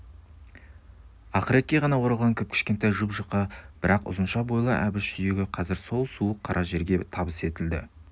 ақыретке ғана оралған кіп-кішкентай жұп-жұқа бірақ ұзынша бойлы әбіш сүйегі қазір сол суық қара жерге табыс етілді